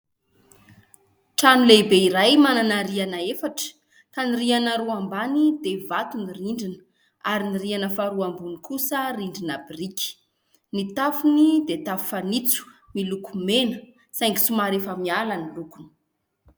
Trano lehibe iray manana rihana efatra : ka rihana roa ambany dia vato ny rindrina ary ny rihana faharoa ambony kosa rindrina biriky. Ny tafony dia tafo fanitso miloko mena saingy somary efa miala ny lokony.